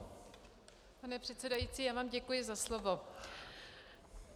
Pane předsedající, já vám děkuji za slovo.